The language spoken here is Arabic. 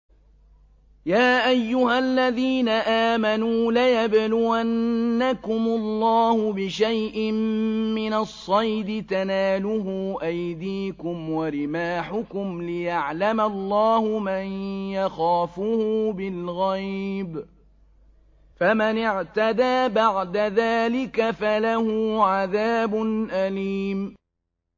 يَا أَيُّهَا الَّذِينَ آمَنُوا لَيَبْلُوَنَّكُمُ اللَّهُ بِشَيْءٍ مِّنَ الصَّيْدِ تَنَالُهُ أَيْدِيكُمْ وَرِمَاحُكُمْ لِيَعْلَمَ اللَّهُ مَن يَخَافُهُ بِالْغَيْبِ ۚ فَمَنِ اعْتَدَىٰ بَعْدَ ذَٰلِكَ فَلَهُ عَذَابٌ أَلِيمٌ